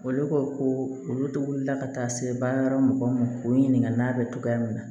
Olu ko ko olu de wulila ka taa se baara yɔrɔ mɔgɔ ma k'o ɲininka n'a bɛ togoya min na